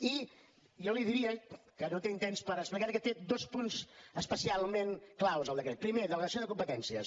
i jo li diria que no tinc temps per explicar ho que té dos punts especialment clau el decret primer delegació de competències